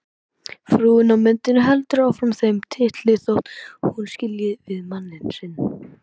Frúin á myndinni heldur áfram þeim titli þótt hún skilji við mann sinn.